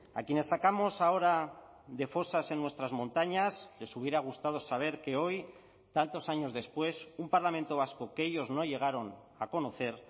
a quienes sacamos ahora de fosas en nuestras montañas les hubiera gustado saber que hoy tantos años después un parlamento vasco que ellos no llegaron a conocer